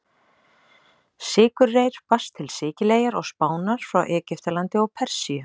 Sykurreyr barst til Sikileyjar og Spánar frá Egyptalandi og Persíu.